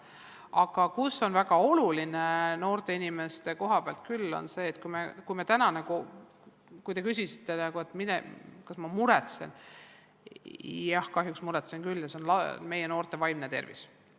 Aga see on noorte inimeste koha pealt küll väga oluline – te küsisite, kas ma millegi pärast muretsen, siis jah, kahjuks muretsen küll –, milline on nende vaimne tervis.